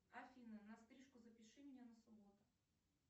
афина на стрижку запиши меня на субботу